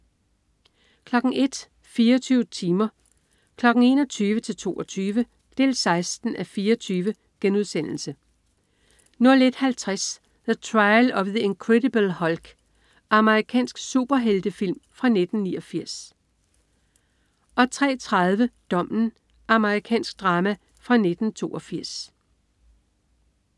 01.00 24 timer. 21.00-22.00. 16:24* 01.50 The Trial of the Incredible Hulk. Amerikansk superheltefilm fra 1989 03.30 Dommen. Amerikansk drama fra 1982